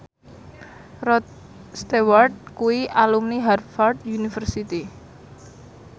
Rod Stewart kuwi alumni Harvard university